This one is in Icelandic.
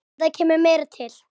En það kemur meira til.